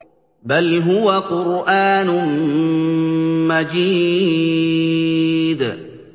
بَلْ هُوَ قُرْآنٌ مَّجِيدٌ